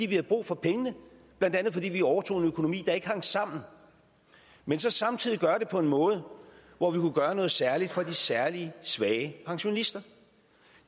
vi havde brug for pengene blandt andet fordi vi overtog en økonomi der ikke hang sammen men samtidig gøre det på en måde hvor vi kunne gøre noget særligt for de særlig svage pensionister